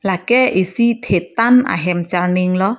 lake isi thetan ahem charning lo.